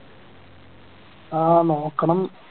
ആഹ് നോക്കണം